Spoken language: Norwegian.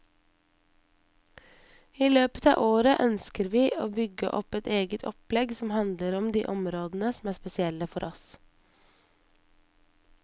I løpet av året ønsker vi å bygge opp et eget opplegg som handler om de områdene som er spesielle for oss.